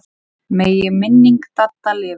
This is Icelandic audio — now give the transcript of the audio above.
Megi minning Dadda lifa.